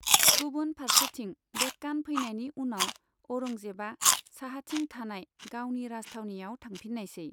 गुबुन फारसेथिं, देक्कान फैनायनि उनाव औरंजेबआ साहाथिं थानाय गावनि राजथावनियाव थांफिनायसै।